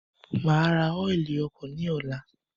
Maa ra ọ́ilì ọkọ̀ ni ọ̀la